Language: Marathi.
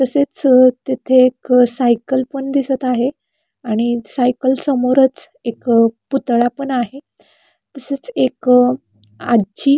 तसेच अ तिथे एक अ सायकल पण दिसत आहे आणि सायकल समोरच एक अ पुतळा पण आहे तसेच एक आजी--